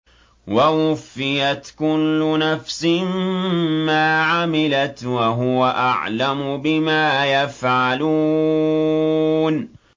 وَوُفِّيَتْ كُلُّ نَفْسٍ مَّا عَمِلَتْ وَهُوَ أَعْلَمُ بِمَا يَفْعَلُونَ